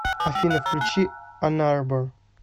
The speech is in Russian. афина включи анарбор